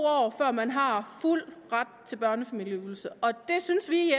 år før man har fuld ret til børnefamilieydelse det synes vi